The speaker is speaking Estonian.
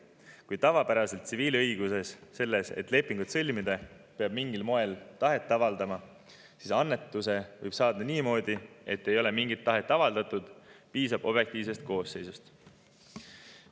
Kui tavapäraselt tsiviilõiguses peab selleks, et lepingut sõlmida, mingil moel tahet avaldama, siis annetuse võib saada niimoodi, et ei ole mingit tahet avaldatud, piisab objektiivsest koosseisust.